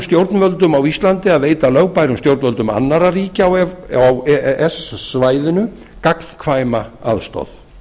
stjórnvöldum á íslandi að veita lögbærum stjórnvöldum annarra ríkja á e e s svæðinu gagnkvæma aðstoð